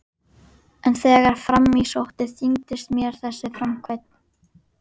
En þegar fram í sótti þyngdist mér þessi framkvæmd.